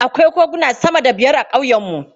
Akwai koguna sama da biyar a ƙauyenmu.